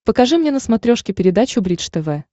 покажи мне на смотрешке передачу бридж тв